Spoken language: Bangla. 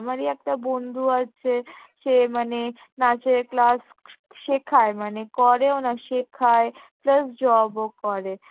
আমারই একটা বন্ধু আছে, সে মানে নাচের class ক~ শেখায় মানে করেও না শেখায় plus job ও করে